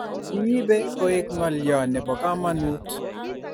kiibei koek ngalyo nebo kamanut